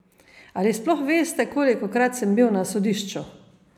Ali sploh veste, kolikokrat sem bil na sodišču?